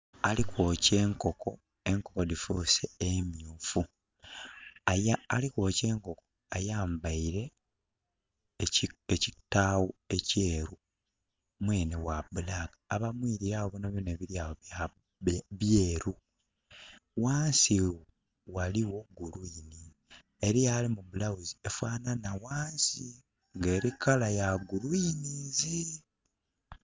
Ali kwokya enkoko, enkoko dhifuuse emyufu. Ali kwokya enkoko ayambaire ekitaawo ekyeru. Mwenhe gha black. Abamwilire agho byonabyona ebimwilire agho byeru. Ghansi ghaligho green. Eliyo ali mu blouse efaanhanha ghansi ng'eli colour ya greens.